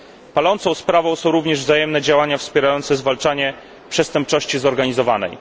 Palącą sprawą są również wzajemne działania wspierające zwalczanie przestępczości zorganizowanej.